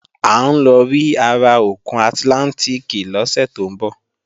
À ń lọ rí ara òkun àtlántìkì lọ́sẹ̀ tó ń bọ̀